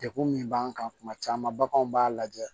Degun min b'an kan kuma caman baganw b'a lajɛ